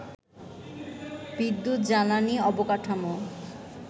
বিদ্যুৎ, জ্বালানি, অবকাঠামো